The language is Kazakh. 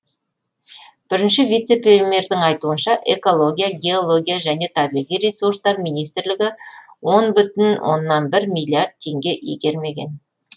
бірінші вице премьердің айтуынша экология геология және табиғи ресурстар министрлігі он бүтін оннан бір миллиард теңге игермеген